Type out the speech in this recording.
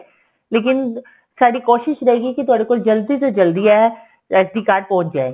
ਲੇਕਿਨ ਸਾਡੀ ਕੋਸ਼ਿਸ ਰਹੇਗੀ ਕੀ ਤੁਹਾਡੇ ਕੋਲ ਜਲਦੀ ਤੋਂ ਜਲਦੀ ਇਹ SD card ਪਹੁੰਚ ਜਾਏ